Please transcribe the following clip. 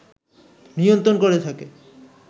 নিয়ন্ত্রণ করে থাকে